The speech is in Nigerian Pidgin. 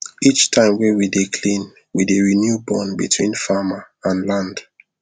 each time wey we dey clean we dey renew bond between farmer and land